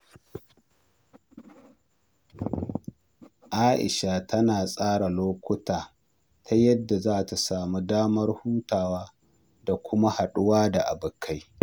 Aisha tana tsara lokacinta ta yadda za ta sami damar hutawa da kuma haduwa da abokai.